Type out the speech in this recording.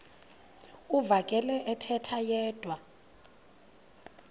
uvakele ethetha yedwa